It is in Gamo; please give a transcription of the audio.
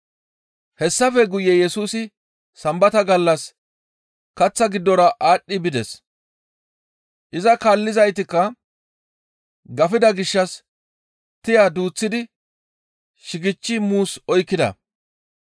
Hessafe guye Yesusi Sambata gallas kaththa giddora aadhdhi bides. Iza kaallizaytikka gafida gishshas tiya duuththidi shigechchi muus oykkida.